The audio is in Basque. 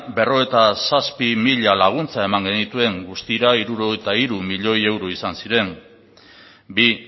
berrogeita zazpi mila laguntza eman genituen guztira hirurogeita hiru milioi euro izan ziren bi